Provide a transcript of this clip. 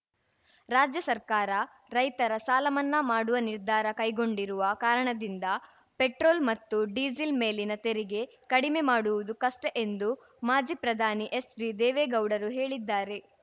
ರಾಜ್ಯ ಸರ್ಕಾರ ರೈತರ ಸಾಲಮನ್ನಾ ಮಾಡುವ ನಿರ್ಧಾರ ಕೈಗೊಂಡಿರುವ ಕಾರಣದಿಂದ ಪೆಟ್ರೋಲ್ ಮತ್ತು ಡೀಸೆಲ್ ಮೇಲಿನ ತೆರಿಗೆ ಕಡಿಮೆ ಮಾಡುವುದು ಕಷ್ಟಎಂದು ಮಾಜಿ ಪ್ರಧಾನಿ ಎಚ್‌ಡಿ ದೇವೇಗೌಡರು ಹೇಳಿದ್ದಾರೆ